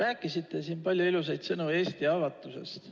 Te ütlesite siin palju ilusaid sõnu Eesti avatusest.